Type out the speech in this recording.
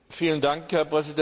Herr Präsident!